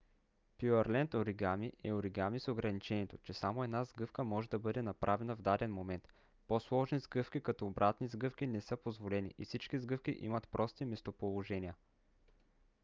пюърленд оригами е оригами с ограничението че само една сгъвка може да бъде направена в даден момент по-сложни сгъвки като обратни сгъвки не са позволени и всички сгъвки имат прости местоположения